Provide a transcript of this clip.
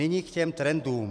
Nyní k těm trendům.